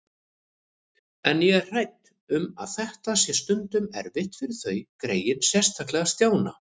En ég er hrædd um að þetta sé stundum erfitt fyrir þau greyin, sérstaklega Stjána